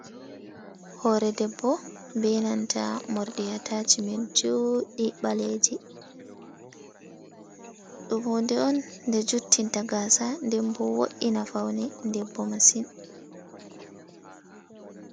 Hore debbo, benanta morɗi atacimen joɗɗi ɓaleji, ɗum hunde on ɗe juttinta gaasa denbo wo"ina faune debbo masin.